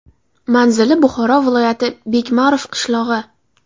Manzili Buxoro viloyati, Bekmarov qishlog‘i.